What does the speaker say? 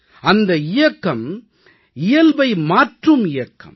இந்த இயக்கம் இயல்பை மாற்றும் இயக்கம்